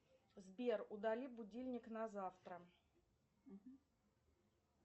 сбер удали будильник на завтра